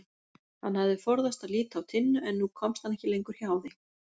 Hann hafði forðast að líta á Tinnu en nú komst hann ekki lengur hjá því.